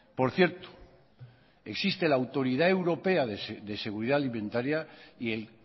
por cierto existe la autoridad europea de seguridad alimentaria y el